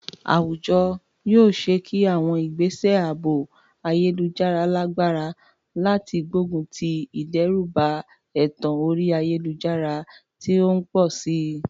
Àwùjọ yóò ṣe é ṣe kí àwọn ìgbésẹ̀ ààbò ayélujára lágbára láti gbógun ti ìdẹ́rùbà ẹ̀tàn orí ayélujára tó ń pọ̀ sí i.